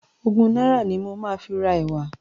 Ogún náírà ni mo máa fi ra ẹ̀wà.